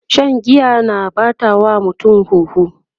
Shan giya na ɓata wa mutum huhu